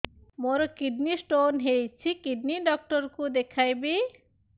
ମୋର kidney stone ହେଇଛି kidney doctor କୁ ଦେଖାଇବି